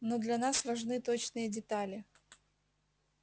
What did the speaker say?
но для нас важны точные детали